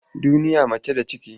Duniya mace da ciki.